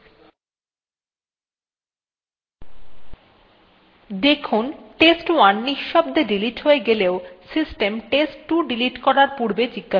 যাতে আমরা যখন rm চালাব তখন প্রকৃতপক্ষে rm hyphen i চালানো হয়